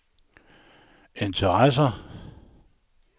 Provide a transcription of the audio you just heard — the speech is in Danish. interesserer